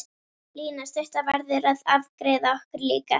Lína stutta verður að afgreiða okkur líka.